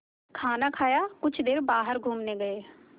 खाना खाया कुछ देर बाहर घूमने गए